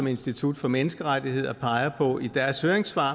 institut for menneskerettigheder peger på i deres høringssvar